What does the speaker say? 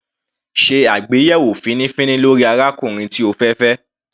Sé àgbéyẹ̀wò fínífíní lórí arákùnrin tí o fẹ́ fẹ́.